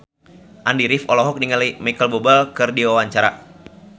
Andy rif olohok ningali Micheal Bubble keur diwawancara